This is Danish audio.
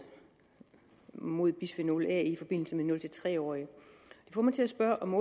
mod bisfenol a i forbindelse med nul tre årige det får mig til at spørge om